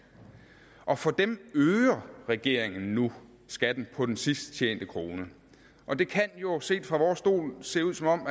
og for dem øger regeringen nu skatten på den sidst tjente krone og det kan jo set fra vores stol se ud som om